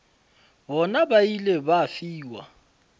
bona ba ile ba fiwa